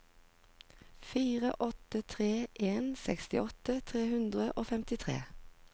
fire åtte tre en sekstiåtte tre hundre og femtitre